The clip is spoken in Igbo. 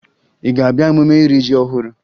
Ị ga-abịa emume iri ji ọhụrụ?